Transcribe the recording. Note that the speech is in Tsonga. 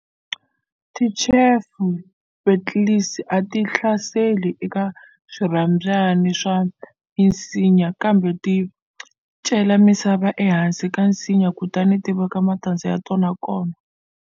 Ti chafer beetles a ti hlaseli eka swirhabyani swa misinya, kambe ti cela misava ehansi ka nsinya kutani ti veka matandza ya tona kona.